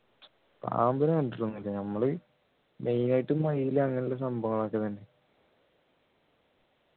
പാമ്പിനെ കണ്ടിട്ട് ഒന്നുമില്ല നമ്മൾ main ആയിട്ട് മയില് അങ്ങനെയുള്ള സംഭവങ്ങളൊക്കെയാണ്